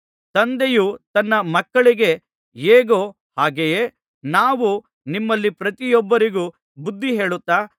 ತಂದೆಯು ತನ್ನ ಮಕ್ಕಳಿಗೆ ಹೇಗೋ ಹಾಗೆಯೇ ನಾವು ನಿಮ್ಮಲ್ಲಿ ಪ್ರತಿಯೊಬ್ಬರಿಗೂ ಬುದ್ಧಿ ಹೇಳುತ್ತಾ